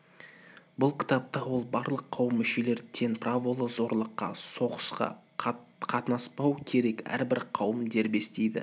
бұл кітапта ол барлық қауым мүшелері тең праволы зорлыққа соғысқа қатынаспау керек әрбір қауым дербес дейді